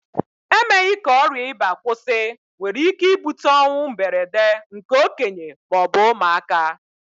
Emeghị ka ọrià ịba kwụsị nwere ike ibute ọnwụ mberede nke okenye ma ọ bụ ụmụaka